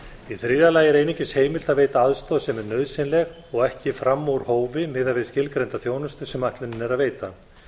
í þriðja lagi er einungis heimilt að veita aðstoð sem er nauðsynleg og ekki fram úr hófi miðað við skilgreinda þjónustu sem ætlunin er að veita